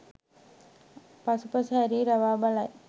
පසුපස හැරී රවා බලයි.